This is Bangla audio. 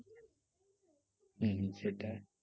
হম হম সেটাই